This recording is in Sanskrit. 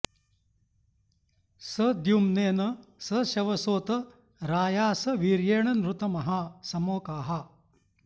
स द्युम्नेन स शवसोत राया स वीर्येण नृतमः समोकाः